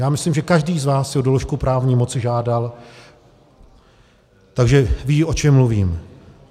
Já myslím, že každý z vás si o doložku právní moci žádal, takže ví, o čem mluvím.